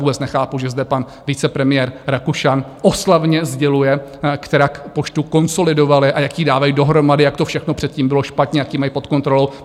Vůbec nechápu, že zde pan vicepremiér Rakušan oslavně sděluje, kterak poštu konsolidovali a jak ji dávají dohromady, jak to všechno předtím bylo špatně, jak ji mají pod kontrolou.